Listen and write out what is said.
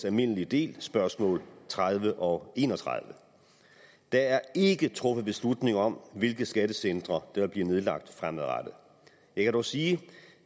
almindelig del spørgsmål tredive og enogtredivete der er ikke truffet beslutning om hvilke skattecentre der vil blive nedlagt fremadrettet jeg kan dog sige